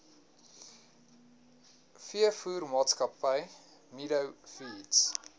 veevoermaatskappy meadow feeds